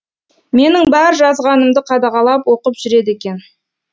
менің бар жазғанымды қадағалап оқып жүреді екен